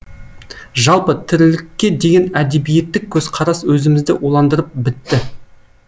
жалпы тірлікке деген әдебиеттік көзқарас өзімізді уландырып бітті